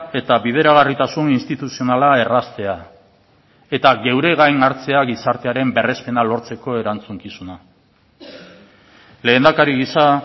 eta bideragarritasun instituzionala erraztea eta geure gain hartzea gizartearen berrespena lortzeko erantzukizuna lehendakari gisa